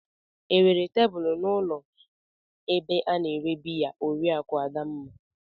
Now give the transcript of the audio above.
Enwere tebụl n'ụlọ ebe a na-ere biya Oriakụ Adamma?